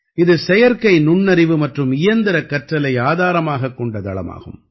இது செயற்கை நுண்ணறிவு மற்றும் இயந்திர கற்றலை ஆதாரமாகக் கொண்ட தளமாகும்